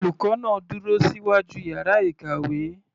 Olùkọ́ náà dúró síwájú yàrá ìkàwé.